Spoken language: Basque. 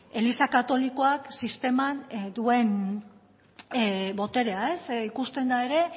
eliza katolikoak sisteman duen boterea ikusten da ere